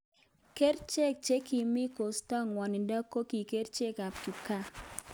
Kericheek che kimii cheistoi ngwanindo koki kerchek ab kipkaa